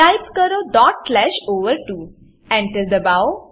type કરો dot slash ઓવર2 Enter દબાવો